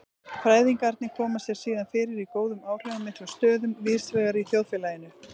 Fræðingarnir koma sér síðan fyrir í góðum áhrifamiklum stöðum víðsvegar í þjóðfélaginu.